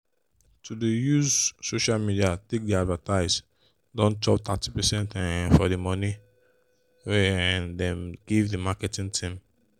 to dey use social media take dey advertise don chop thirty percent um for the money wey um them give the marketing team.